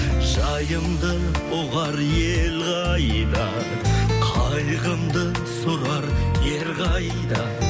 жайымды ұғар ел қайда қайғымды сұрар ер қайда